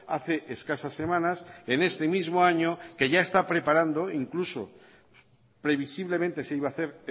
hace escasas semanas en este mismo año que ya está preparando incluso previsiblemente se iba a hacer